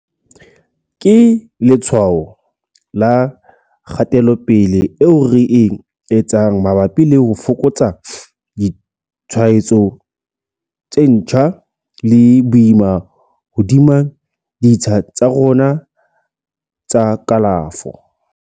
Ke letshwao la kgatelopele eo re e etsang mabapi le ho fokotsa ditshwaetso tse ntjha le boima hodima ditsha tsa rona tsa kalafo.